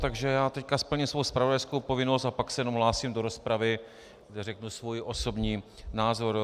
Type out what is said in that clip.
Takže já teď splním svou zpravodajskou povinnost a pak se jenom ohlásím do rozpravy, kde řeknu svůj osobní názor.